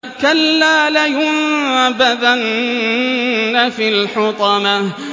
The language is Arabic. كَلَّا ۖ لَيُنبَذَنَّ فِي الْحُطَمَةِ